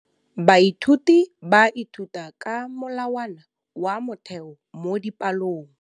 Baithuti ba ithuta ka molawana wa motheo mo dipalong.